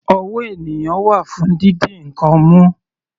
Ọwọ́ ènìyàn wà fún didi ǹkan mú.